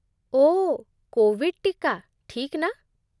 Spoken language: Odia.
ଓଃ, କୋଭିଡ୍ ଟୀକା, ଠିକ୍ ନା?